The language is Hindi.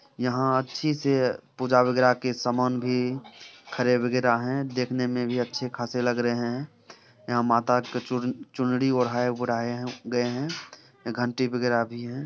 यहाँ अच्छी से पूजा वगैरह के समान भी खड़े वगैरह है। देखने में भी अच्छे खासे लग रहे हैं। यहाँ माता के चुन-- चुनरी ओराहे ओराहे हैं गए हैं। घंटी वगैरा भी हैं।